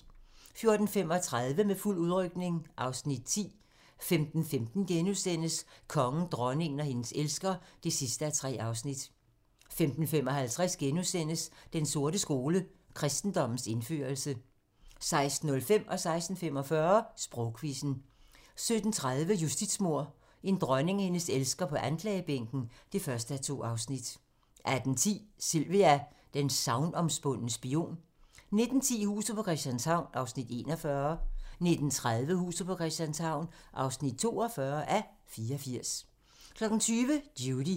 14:35: Med fuld udrykning (Afs. 10) 15:15: Kongen, dronningen og hendes elsker (3:3)* 15:55: Den sorte skole: Kristendommens indførelse * 16:05: Sprogquizzen 16:45: Sprogquizzen 17:30: Justitsmord - en dronning og hendes elsker på anklagebænken (1:2) 18:10: Sylvia: den sagnomspundne spion 19:10: Huset på Christianshavn (41:84) 19:30: Huset på Christianshavn (42:84) 20:00: Judy